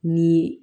Ni